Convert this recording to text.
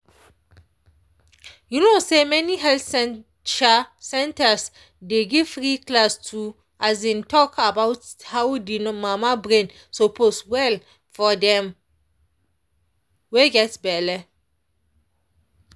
you no say many health um centers dey give free class to um talk about how de mama brain suppose well for dem wey get belle.